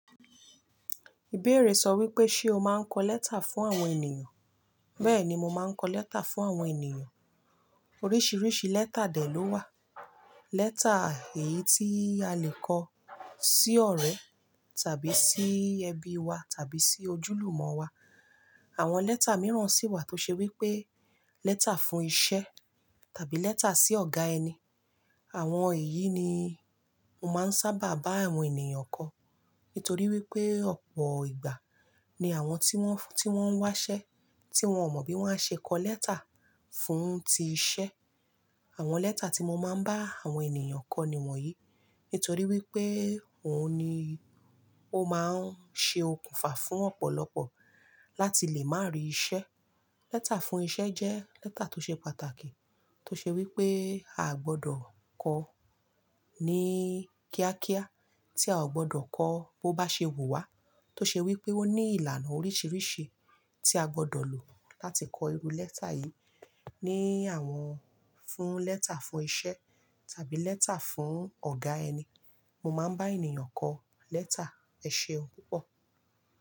Ìbéèrè sọ wípé, ṣe o máa ń kọ lẹ́tà fún àwọn ènìyàn? Bẹ́ẹ̀ni, mo máa ń kọ lẹ́tà fún àwọn ènìyàn. Oríṣiríṣi lẹ́tà dè ló wà. Lẹ́tà èyí tí a lè kọ sí ọ̀rẹ́ tàbí sí ẹbí wa tàbí sí ojúlùmọ̀ wa. Àwọn lẹ́tà mìíràn sì wà tó ṣe wípé lẹ́tà fún iṣẹ́ tàbí lẹ́tà sí ọ̀gá ẹni. Àwọn èyí ni mo máa ń sábà bá àwọn ènìyàn kọ. Nítorí wípé ọ̀pọ̀ ìgbà ni àwọn tí wọ́n, tí wọ́n ń wáṣẹ́ tí wọ́n ò mọ bí wọ́n á ṣe kọ lẹ́tà fún ti iṣẹ́. Àwọn lẹ́tà tí mo máa ń bá àwọn ènìyàn kọ ni wọ̀nyí. Nítorí wípé òun ni ó máa ń ṣe okùnfà fún ọ̀pọ̀lọpọ̀ láti lè máa rí iṣẹ́. Lẹ́tà fún iṣẹ́ jẹ́ lẹ́tà tó ṣe pàtàkì. Tó ṣe wípé a gbọdọ̀ kọ ní kíákíá, tí a ò gbọdọ̀ kọ bó bá ṣe wù wá. Tó ṣe wípé ó ní ìlànà oríṣiríṣi tí a gbọdọ̀ lò láti kọ irú lẹ́tà yìí. Ní àwọn fún lẹ́tà fún iṣẹ́ tàbí lẹ́tà fún ọ̀gá ẹni, mo máa ń bá ènìyàn kọ lẹ́tà. Ẹ ṣeun púpọ̀.